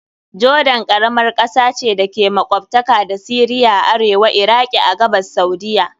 Jordan karamar kasa ce da ke makwabtaka da Syria a arewa, Iraki a gabas, Saudiyya..